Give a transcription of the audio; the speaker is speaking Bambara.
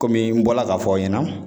n bɔra ka ɲɛfɔ aw ɲɛna